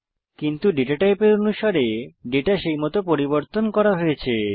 কিন্তু ডেটা টাইপের অনুসারে ডেটা সেইমত পরিবর্তন করা হয়েছে